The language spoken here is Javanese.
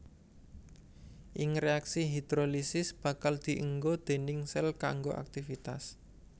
Ing réaksi hidrolisis bakal dienggo déning sél kanggo aktifitas